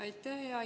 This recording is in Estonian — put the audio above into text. Aitäh!